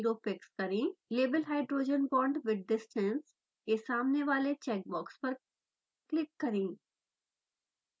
label hydrogen bond with distance के सामने वाले चेक बॉक्स पर क्लिक करें